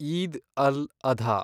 Eid al, Adha